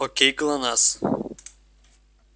окей глонассс